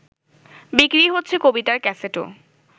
বিক্রি হচ্ছে কবিতার ক্যাসেটও